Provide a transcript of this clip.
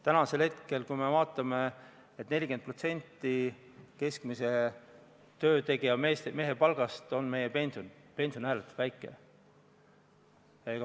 Praegu on nii, et kui võtta aluseks 40% keskmise töötegija mehe palgast, on meie pension ikkagi ääretult väike.